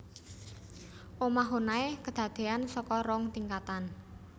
Omah Honai kadadéan saka rong tingkatan